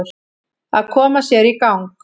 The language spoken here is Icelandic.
Að koma sér í gang